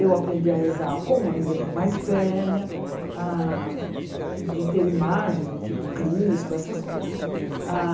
Eu aprendi a rezar com a minha irmã mais velha, ah de ter imagens do tipo Cristo, essas coisas.